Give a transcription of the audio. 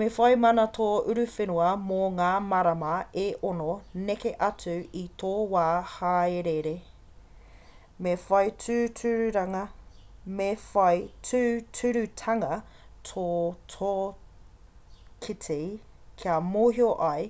me whai mana tō uruwhenua mō ngā marama e 6 neke atu i tō wā haerere me whai tūturutanga tō tīkiti kia mōhio ai